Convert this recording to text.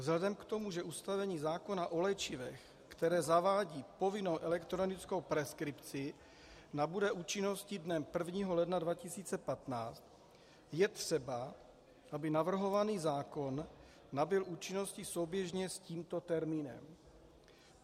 Vzhledem k tomu, že ustanovení zákona o léčivech, které zavádí povinnou elektronickou preskripci, nabude účinnosti dnem 1. ledna 2015, je třeba, aby navrhovaný zákon nabyl účinnosti souběžně s tímto termínem.